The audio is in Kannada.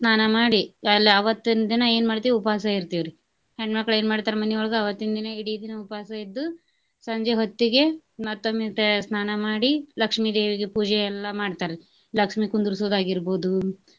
ಸ್ನಾನಾ ಮಾಡಿ ಅಲ್ಲಿ ಅವತ್ತಿನ್ ದಿನಾ ಏನ್ ಮಾಡ್ತೇವಿ ಉಪವಾಸ ಇರ್ತೆವ್ರಿ. ಹೆಣ್ಣ್ ಮಕ್ಳ ಏನ ಮಾಡ್ತಾರ ಮನಿಯೊಳಗ ಅವತ್ತಿನ ದಿನಾ ಇಡಿ ದಿನಾ ಉಪವಾಸ ಇದ್ದು ಸಂಜೆ ಹೊತ್ತಿಗೆ ಮತ್ತೊಮ್ಮೆ ತೆ~ ಸ್ನಾನ ಮಾಡಿ ಲಕ್ಷ್ಮೀ ದೇವಿಗೆ ಪೂಜೆ ಎಲ್ಲಾ ಮಾಡ್ತಾರಿ ಲಕ್ಷ್ಮೀ ಕುಂದರ್ಸೊದ ಆಗಿರ್ಬಹುದು.